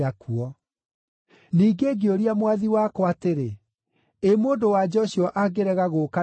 “Ningĩ ngĩũria mwathi wakwa atĩrĩ, ‘Ĩ mũndũ-wa-nja ũcio angĩrega gũũka na niĩ?’